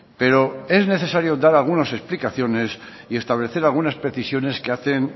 pero es necesario dar algunas explicaciones y establecer algunas precisiones que hacen